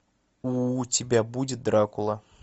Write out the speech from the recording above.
у тебя будет дракула